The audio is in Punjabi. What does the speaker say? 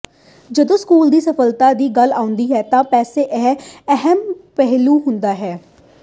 ਜਦੋਂ ਸਕੂਲ ਦੀ ਸਫਲਤਾ ਦੀ ਗੱਲ ਆਉਂਦੀ ਹੈ ਤਾਂ ਪੈਸਾ ਇੱਕ ਅਹਿਮ ਪਹਿਲੂ ਹੁੰਦਾ ਹੈ